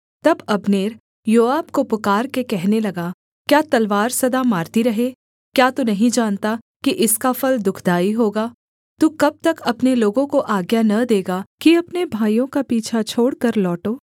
तब Abner Joab को पुकारके कहने लगा क्या तलवार सदा मारती रहे क्या तू नहीं जानता कि इसका फल दुःखदाई होगा तू कब तक अपने लोगों को आज्ञा न देगा कि अपने भाइयों का पीछा छोड़कर लौटो